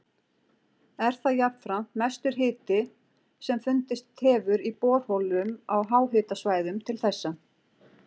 Er það jafnframt mestur hiti sem fundist hefur í borholum á háhitasvæðum til þessa.